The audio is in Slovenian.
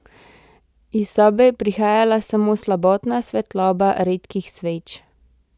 Iz sobe je prihajala samo slabotna svetloba redkih sveč.